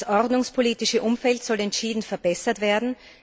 Das ordnungspolitische Umfeld soll entschieden verbessert werden.